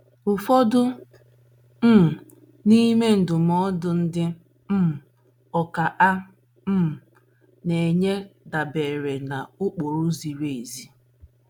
Ụfọdụ um n’ime ndụmọdụ ndị um ọkà a um na - enye dabeere n’ụkpụrụ ziri ezi.